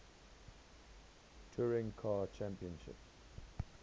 touring car championship